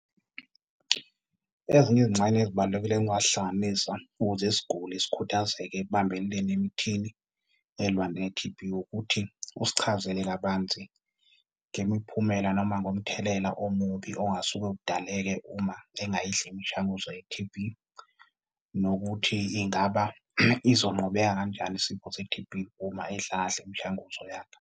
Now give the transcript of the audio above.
Ezinye izingxenye ezibalulekile engingazihlanganisa ukuze isiguli sikhuthazeke ekubambeleni emithini elwa ne-T_B ukuthi usichazele kabanzi ngemiphumela, noma ngomthelela omubi ongasuke udaleke uma engayidli imishanguzo ye-T_B. Nokuthi ingaba izonqobeka kanjani isifo se-T_B uma edla kahle imishanguzo yakhe.